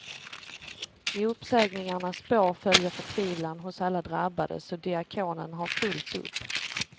I uppsägningarnas spår följer förtvivlan hos alla drabbade, så diakonen har fullt upp.